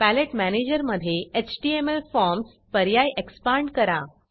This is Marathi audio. पॅलेट मॅनेजर मधे एचटीएमएल formsएचटीएमल फॉर्मस पर्याय एक्सपांड करा